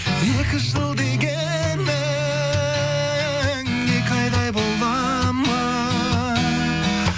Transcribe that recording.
екі жыл дегенің екі айдай бола ма